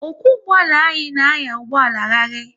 Ọkwo ụgbọala anyị na anya ụgbọala rarii